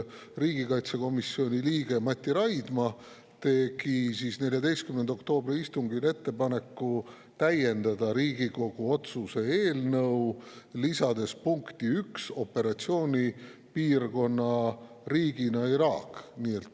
Riigikaitsekomisjoni liige Mati Raidma tegi 14. oktoobri istungil ettepaneku täiendada Riigikogu otsuse eelnõu, lisades punkti 1 operatsioonipiirkonna riigina Iraagi.